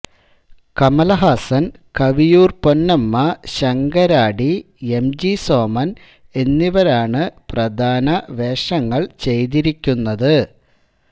Kamal Haasan Kaviyoor Ponnamma Sankaradi M G Soman എന്നിവരാണ് പ്രധാന വേഷങ്ങൾ ചെയ്തിരിക്കുന്നത്